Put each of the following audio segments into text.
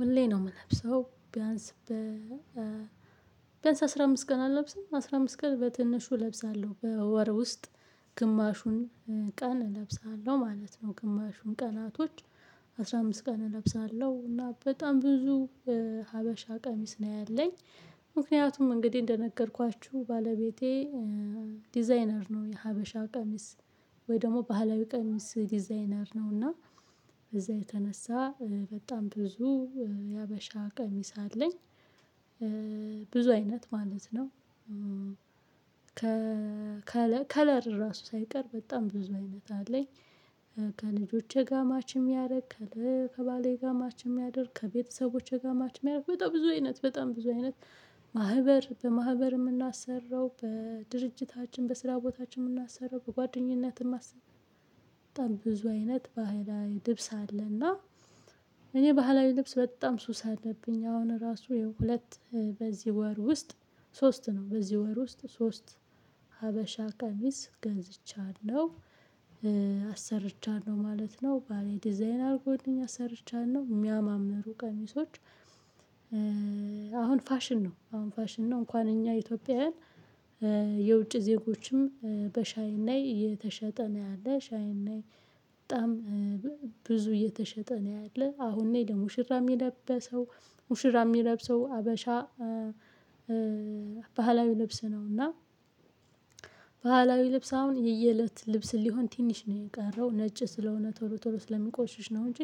ሁሌ ነው የምለብሰው። ቢያንስ ቢያንስ አስራ አምስት ቀን አለብስም አስራ አምስት ቀን በትንሹ እለብሳለሁ በወር ውስጥ ግማሹን ቀን እለብሳለሁ ማለት ነው። ግማሹን ቀናቶች አስራ አምስት ቀን እለብሳለሁ እና በጣም ብዙ ሀበሻ ቀሚስ ነው ያለኝ። እንግዲህ እንደነገርኳችሁ ባለቤቴ ዲዛይነር ነው የሀበሻ ቀሚስ ወይ ደግሞ ባህላዊ ቀሚስ ዲዛይነር ነው። እና በዛ የተነሳ በጣም ብዙ የሀበሻ ቀሚስ አለኝ። ብዙ አይነት ማለት ነው። ከ ከለር ራሱ ሳይቀር በጣም ብዙ አይነት አለኝ። ከልጆቼ ጋር ማች የሚያደርግ ከለር ከባሌ ጋር ማች የሚያደርግ ከቤተሰቦቼ ጋር ማች የሚያደርግ በጣም ብዙ አይነት በጣም ብዙ አይነት በማህበር የምናሰራው በድርጅታችን በስራ ቦታችን የምናሰራው በጓደኝነት የማስበ በጣም ብዙ አይነት ባህላዊ ልብስ አለና። እኔ ባህላዊ ልብስ በጣም ሱስ አለብኝ። አሁን ራሱ የሁለት በዚህ ወር ውስጥ ሶስት ነው በዚህ ወር ውስጥ ሶስት ሀበሻ ቀሚስ ገዝቻለሁ። አሰርቻለሁ ማለት ነው ባሌ ዲዛይን አርጎልኝ አሰርቻለሁ የሚያማምሩ ቀሚሶች። አሁን ፋሽን ነው አሁን ፋሽን ነው። እንኳን እኛ ኢትዮጵያውያን የውጭ ዜጎችም በሻይን ላይ እየተሸጠ ነው። ያለ ሻይን ላይ። በጣም ብዙ እየተሸጠ ነው ያለ አሁን ላይ ለሙሽራ የሚለበሰው። ሙሽራ የሚለብሰው ሀበሻ ባህላዊ ልብስ ነውና። ልብስ አሁን የየእለት ልብስን ሊሆን ትንሽ ነው የቀረው። ነጭ ስለሆነ ቶሎ ቶሎ ስለሚቆሽሽ ነው። እንጂ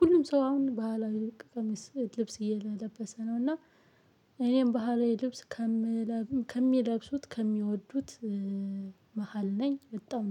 ሁሉም ሰው አሁን ባህላዊ ቀሚስ ልብስ እየለበሰ ነው። እና እኔም ባህላዊ ልብስ ከምለብስ ከሚለብሱት ከሚወዱት መሃል ነኝ። በጣም